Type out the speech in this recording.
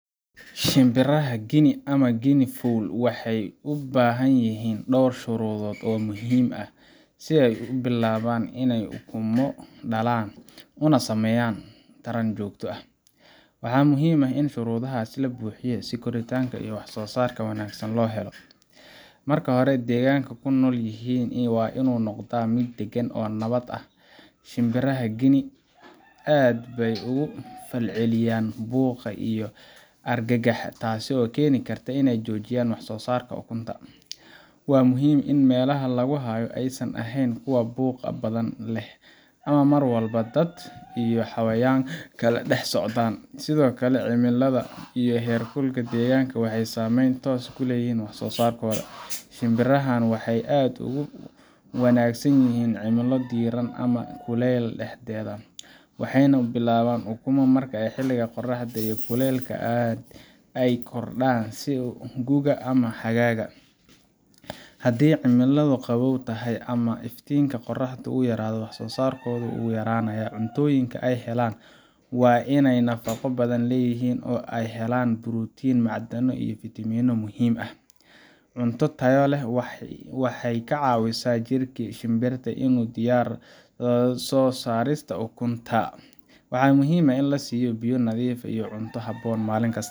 Shimbiraha Guinea ama guinea fowl waxay u baahan yihiin dhowr shuruudood oo muhiim ah si ay u bilaabaan inay ukumo dhalaan una sameeyaan taran joogto ah. Waxaa muhiim ah in shuruudahaasi la buuxiyo si koritaan iyo wax-soo-saar wanaagsan loo helo. Marka hore, deegaanka ay ku nool yihiin waa inuu noqdaa mid degan oo nabad ah. Shimbiraha Guinea aad bay uga falceliyaan buuqa iyo argagaxa, taasoo keeni karta inay joojiyaan wax-soo-saarka ukunta. Waa muhiim in meelaha lagu hayo aysan ahayn kuwa buuq badan leh ama mar walba dad iyo xayawaan kale dhex socdaan. Sidoo kale, cimilada iyo heerkulka deegaanka waxay saameyn toos ah ku leeyihiin wax-soo-saarkooda. Shimbirahan waxay aad ugu wanaagsan yihiin cimilo diirran ama kuleyl dhexdhexaad ah, waxayna bilaabaan ukumo marka xilliga qorraxda iyo kulaylka ay kordhaan, sida gu’ga ama xagaaga. Haddii cimiladu qabow tahay ama iftiinka qorraxda uu yaraado, wax-soo-saarkoodu wuu yaraanayaa. Cuntooyinka ay helayaan waa in ay nafaqo badan leeyihiin oo ay ka helaan borotiin, macdano iyo fiitamiinno muhiim ah. Cunto tayo leh waxay ka caawisaa jirka shimbirta inuu u diyaargaroobo soo saarista ukunta. Waxaa muhiim ah in la siiyo biyo nadiif ah iyo cunto habboon maalin kasta